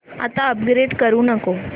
आता अपग्रेड करू नको